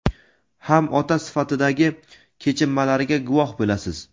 ham ota sifatidagi kechinmalariga guvoh bo‘lasiz.